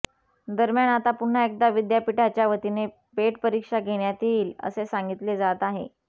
दरम्यान आता पुन्हा एकदा विद्यापीठाच्यावतीने पेट परीक्षा घेण्यात येईल असे सांगितले जात आहे